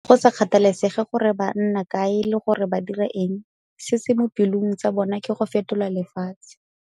Go sa kgathalesege gore ba nna kae le gore ba dira eng, se se mo pelong tsa bona ke go fetola lefatshe.